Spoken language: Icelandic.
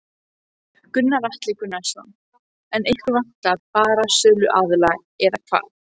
Gunnar Atli Gunnarsson: En ykkur vantar bara söluaðila eða hvað?